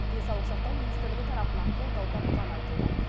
денсаулық сақтау министрлігі тарапынан қолдау тапқаны айтылды